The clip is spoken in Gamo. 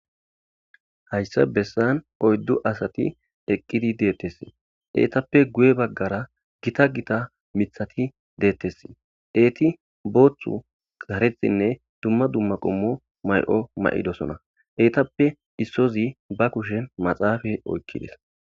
hayssa bessan oyddu asati eqqidi deettessi eetappe guye baggara gita gita mithati deettessi eeti booththu garethinne dumma dumma qummo may7o ma7idosona eetappe issozi ba kushen maxaafa oykkides